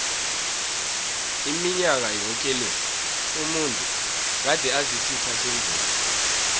iminyaka yoke le umuntu gade asisitha sendlovu